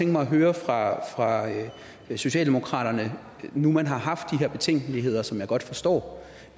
mig at høre fra fra socialdemokraterne nu man har haft de her betænkeligheder som jeg godt forstår